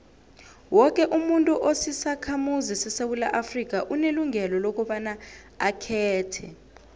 woke umuntu osisakhamuzi sesewula afrika unelungelo lokobaba akhethe